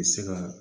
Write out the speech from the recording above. U bɛ se ka